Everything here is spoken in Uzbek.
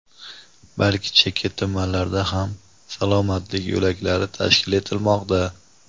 balki chekka tumanlarda ham "Salomatlik yo‘laklari" tashkil etilmoqda.